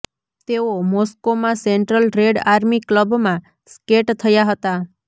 તેઓ મોસ્કોમાં Central Red Army ક્લબમાં સ્કેટ થયા હતા